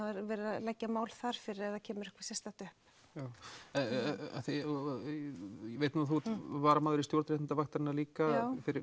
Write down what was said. verið að leggja mál þar fyrir ef kemur eitthvað sérstakt upp já ég veit að þú ert varamaður í stjórn réttindavaktarinnar líka fyrir